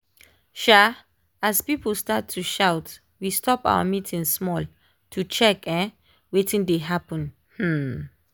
um as people start to shout we stop our meeting small to check um wetin dey happen. um